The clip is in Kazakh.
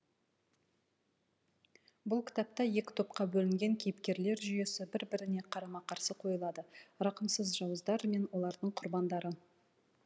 бұл кітапта екі топқа бөлінген кейіпкерлер жүйесі бір біріне қарама қарсы қойылады рақымсыз жауыздар мен олардың құрбандары